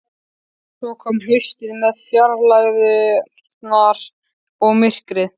Svo kom haustið með fjarlægðirnar og myrkrið.